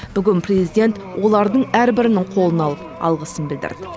бүгін президент олардың әрбірінің қолын алып алғысын білдірді